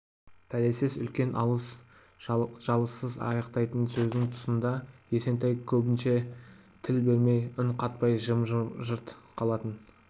пәлесіз үлкен алыс-жұлыссыз аяқтайтын сөздің тұсында есентай көбінше тіл бермей үн қатпай жым-жырт қалатын